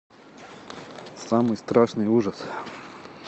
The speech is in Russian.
самый страшный ужас